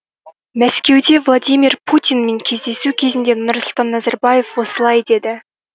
мәскеуде владимир путинмен кездесу кезінде нұрсұлтан назарбаев осылай деді